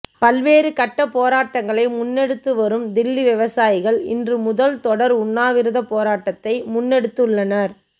பல்வேறு கட்ட போராட்டங்களை முன்னெடுத்து வரும் தில்லி விவசாயிகள் இன்று முதல் தொடர் உண்ணாவிரதப் போராட்டத்தை முன்னெடுத்துள்ளனர்